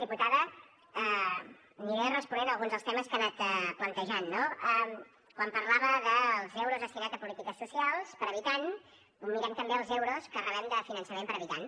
diputada aniré responent a alguns dels temes que ha anat plantejant no quan parlava dels euros destinats a polítiques socials per habitant mirem també els euros que rebem de finançament per habitant